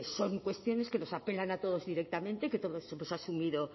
son cuestiones que nos apelan a todos directamente que todos hemos asumido